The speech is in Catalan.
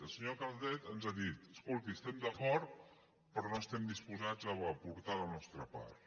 la senyora calvet ens ha dit escolti hi estem d’acord però no estem disposats a aportar la nostra part